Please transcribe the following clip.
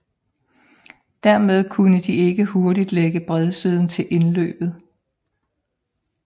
Dermed kunne de ikke hurtigt lægge bredsiden til indløbet